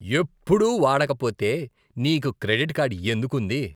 ఎప్పుడూ వాడకపోతే నీకు క్రెడిట్ కార్డ్ ఎందుకు ఉంది?